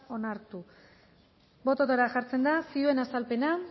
onartu botoetara jartzen da zioen azalpena